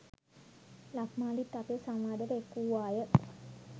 ලක්මාලිත් අපේ සංවාදයට එක්වූවාය.